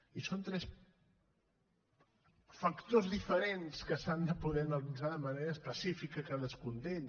i són tres factors diferents que s’han de poder analitzar de manera específica cadascun d’ells